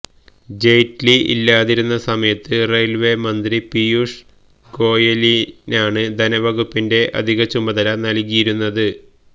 ജെയ്റ്റ്ലി ഇല്ലാതിരുന്ന സമയത്ത് റെയിൽവേ മന്ത്രി പിയൂഷ് ഗോയലിനാണ് ധനവകുപ്പിന്റെ അധിക ചുമതല നൽകിയിരുന്നത്